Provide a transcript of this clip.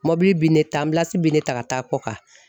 Mɔbili bi ne ta bi ne ta ka taa kɔkan.